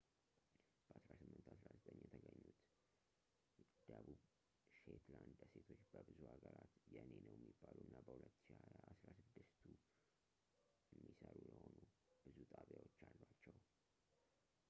በ1819 የተገኙት ደቡብ ሼትላንድ ደሴቶች በብዙ ሀገራት የኔ ነው የሚባሉ እና በ2020 አስራ ስድስቱ የሚሰሩ የሆኑ ብዙ ጣቢያዎች አሏቸው